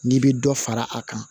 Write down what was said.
N'i bɛ dɔ fara a kan